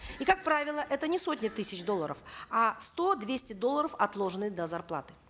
и как правило это не сотни тысяч долларов а сто двести долларов отложенные до зарплаты